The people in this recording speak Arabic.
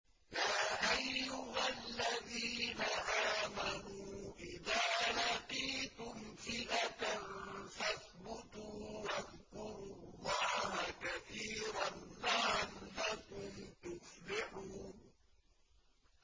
يَا أَيُّهَا الَّذِينَ آمَنُوا إِذَا لَقِيتُمْ فِئَةً فَاثْبُتُوا وَاذْكُرُوا اللَّهَ كَثِيرًا لَّعَلَّكُمْ تُفْلِحُونَ